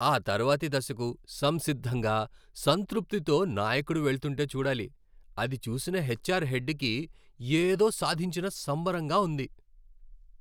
ఆతర్వాతి దశకు సంసిద్ధంగా, సంతృప్తితో నాయకుడు వెళ్తుంటే చూడాలి, అది చూసిన హెచ్ఆర్ హెడ్ కి ఏదో సాధించిన సంబరంగా ఉంది.